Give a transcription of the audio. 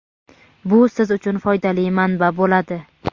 bu siz uchun foydali manba bo‘ladi.